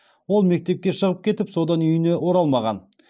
ол мектепке шығып кетіп содан үйіне оралмаған